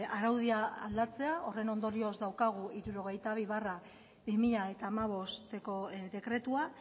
araudia aldatzea horren ondorioz daukazu hirurogeita bi barra bi mila hamabosteko dekretua